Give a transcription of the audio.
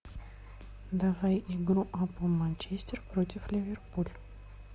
давай игру апл манчестер против ливерпуль